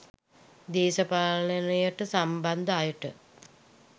දේශපාලනයට සම්බන්ධ අයට